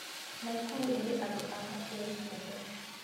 Naikuru ĩrĩ andũ a kabira ciothe